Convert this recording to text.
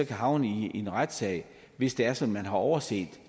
kan havne i en retssag hvis det er sådan har overset